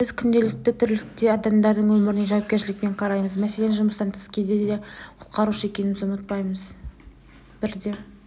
біз күнделікті тірлікте адамдардың өміріне жауапкершілікпен қараймыз мәселен жұмыстан тыс кезде де құтқарушы екенімізді ұмытпаймыз бірде